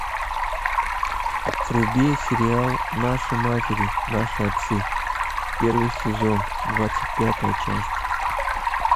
вруби сериал наши матери наши отцы первый сезон двадцать пятая часть